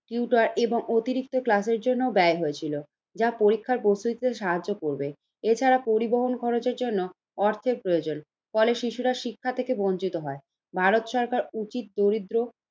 এর অতিরিক্ত class ক্লাসের জন্য ব্যায় হয়েছিল, যা পরীক্ষার সাহায্য করবে। এছাড়া পরিবহন খরচের জন্য অর্থের প্রয়োজন, ফলে শিশুরা শিক্ষা থেকে বঞ্চিত হয়। ভারত সরকার উচিত দরিদ্র